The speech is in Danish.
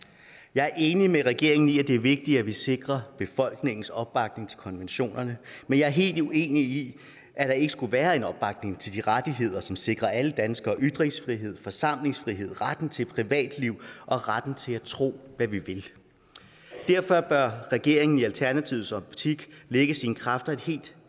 jeg er enig med regeringen i at det er vigtigt at vi sikrer befolkningens opbakning til konventionerne men jeg er helt uenig i at der ikke skulle være en opbakning til de rettigheder som sikrer alle danskere ytringsfrihed forsamlingsfrihed retten til privatliv og retten til at tro hvad vi vil derfor bør regeringen i alternativets optik lægge sine kræfter et helt